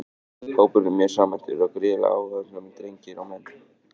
Hópurinn er mjög samhentur og gríðarlega áhugasamir drengir og menn!